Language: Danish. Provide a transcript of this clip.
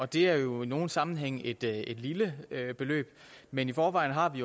det er jo i nogle sammenhænge et et lille beløb men i forvejen har vi